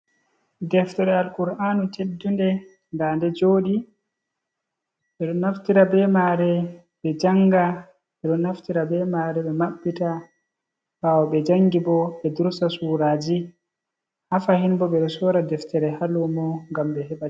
Deftere al kur'anu teddun nda de joɗi, ɓe ɗo naftira be mare ɓe janga, ɓe ɗo naftira ɓe mare ɓe maɓɓita ɓawo ɓe jangi bo ɓe dursa suraji, ha fahin bo ɓe ɗo sora deftere ha lumo ngam ɓe heɓa ɗi.